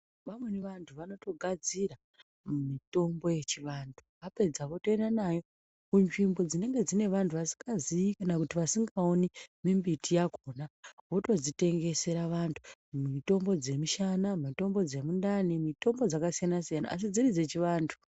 Vamweni vantu vanogadzira mitombo yechivantu vapedza vanoenda nayo kunzvimbo dzinenge dzine vantu vasingazivi kana vasingaoni mimbiti yakona votodzitengesera vantu mitombo dzemishana mitombo dzemundani mitombo dzakasiyana siyana asi dziri dzechivantu.